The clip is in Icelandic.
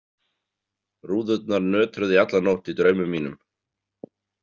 Rúðurnar nötruðu í alla nótt í draumum mínum.